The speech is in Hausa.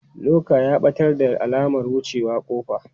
Luka ya ɓatar da alamar wucewa ƙofa.